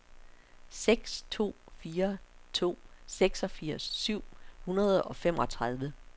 seks to fire to seksogfirs syv hundrede og femogtredive